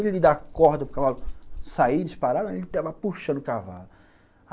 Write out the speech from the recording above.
Eu vi ele dar a corda para o cavalo sair, disparar, e ele tava puxando o cavalo.